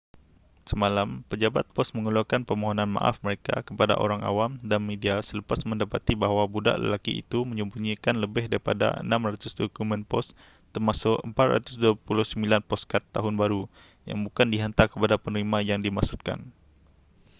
semalam pejabat pos mengeluarkan permohonan maaf mereka kepada orang awam dan media selepas mendapati bahawa budak lelaki itu menyembunyikan lebih daripada 600 dokumen pos termasuk 429 poskad tahun baru yang bukan dihantar kepada penerima yang dimaksudkan